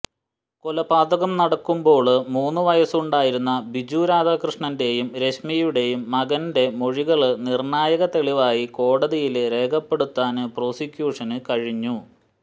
കൊലപാതകം നടക്കുമ്പോള് മൂന്നു വയസുണ്ടായിരുന്ന ബിജു രാധാകൃഷ്ണന്റെയും രശ്മിയുടെയും മകന്റെ മൊഴികള് നിര്ണായക തെളിവായി കോടതിയില് രേഖപ്പെടുത്താന് പ്രോസിക്യൂഷന് കഴിഞ്ഞു